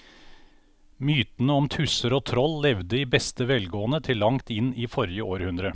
Mytene om tusser og troll levde i beste velgående til langt inn i forrige århundre.